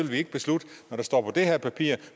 vi ikke beslutte når det står på det her papir